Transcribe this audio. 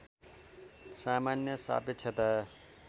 सामान्य सापेक्षता